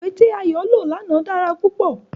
Iwe ti Ayo lo làná dara pupọ